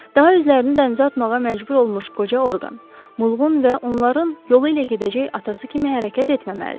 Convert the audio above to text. Daha özlərini dənizə atmağa məcbur olmuş qoca Orqan, Mulqun və onların yolu ilə gedəcək atası kimi hərəkət etməməlidir.